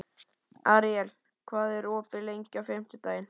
Aríela, hvað er opið lengi á fimmtudaginn?